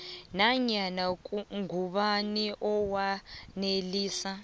nanyana ngubani owanelisa